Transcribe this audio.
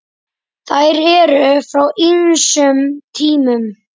Þær eru frá ýmsum tímum.